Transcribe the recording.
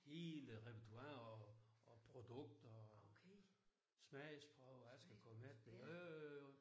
Hele repertoiret og og produkter og smagsprøver jeg skal komme efter jo jo jo jo